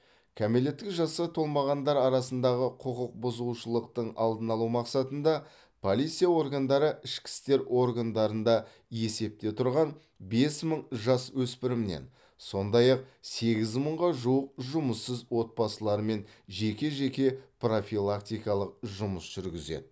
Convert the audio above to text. кәмелеттік жасқа толмағандар арасындағы құқық бұзушылықтың алдын алу мақсатында полиция органдары ішкі істер органдарында есепте тұрған бес мың жасөспіріммен сондай ақ сегіз мыңға жуық жұмыссыз отбасылармен жеке жеке профилактикалық жұмыс жүргізеді